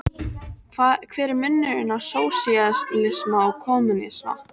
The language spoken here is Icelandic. Hver er munurinn á sósíalisma og kommúnisma?